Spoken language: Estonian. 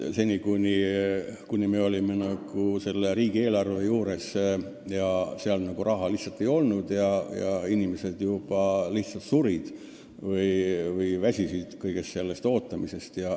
Seni pidime piirduma riigieelarvega, kus raha lihtsalt ei olnud, ja inimesed juba surid või väsisid sellest ootamisest.